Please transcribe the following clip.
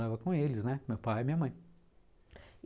Morava com eles, né? Meu pai e minha mãe.